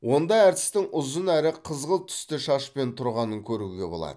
онда әртістің ұзын әрі қызғылт түсті шашпен тұрғанын көруге болады